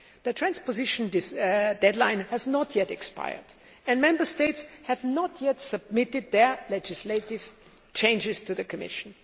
The transposition deadline has not yet expired, and Member States have not yet submitted their legislative changes to the Commission.